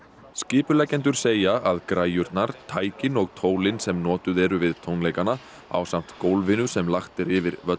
skipuleggjendur segja að græjurnar tækin og tólin sem notuð eru við tónleikana ásamt gólfinu sem lagt er yfir völlinn